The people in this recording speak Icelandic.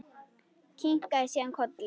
Kinkaði síðan kolli.